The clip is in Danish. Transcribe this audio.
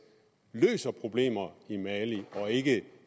løser problemerne i mali og ikke